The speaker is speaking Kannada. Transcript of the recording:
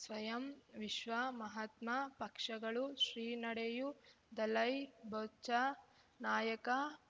ಸ್ವಯಂ ವಿಶ್ವ ಮಹಾತ್ಮ ಪಕ್ಷಗಳು ಶ್ರೀ ನಡೆಯೂ ದಲೈ ಬಚ ನಾಯಕ